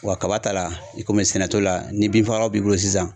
Wa kaba ta la i komi sɛnɛ t'o la, ni bin fagalan b'i bolo sisan